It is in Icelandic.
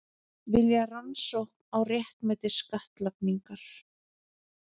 Vilja rannsókn á réttmæti skattlagningar